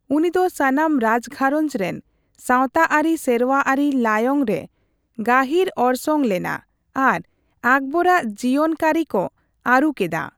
ᱩᱱᱤᱫᱚ ᱥᱟᱱᱟᱢ ᱨᱟᱡᱽᱜᱷᱟᱸᱨᱚᱡ ᱨᱮᱱ ᱥᱟᱣᱛᱟᱟᱹᱨᱤᱼᱥᱮᱨᱣᱟ ᱟᱹᱨᱤ ᱞᱟᱭᱚᱝ ᱨᱮ ᱜᱟᱹᱦᱤᱨ ᱚᱨᱥᱚᱝ ᱞᱮᱱᱟ ᱟᱨ ᱟᱠᱵᱚᱨ ᱨᱟᱜ ᱡᱤᱣᱚᱱ ᱠᱟᱹᱨᱤ ᱠᱚ ᱟᱹᱨᱩ ᱠᱮᱫᱟ᱾